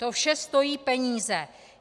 To vše stojí peníze.